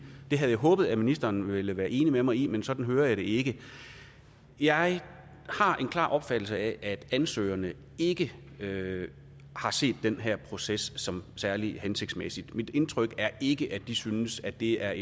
det havde jeg håbet ministeren ville være enig med mig i men sådan hører jeg det ikke jeg har en klar opfattelse af at ansøgerne ikke ikke har set den her proces som særlig hensigtsmæssig mit indtryk er ikke at de synes at det er